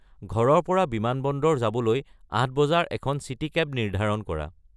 ঘৰৰ পৰা বিমানবন্দৰ যাবলৈ আঠ বজাৰ এখন চিটি কেব নিৰ্ধাৰণ কৰা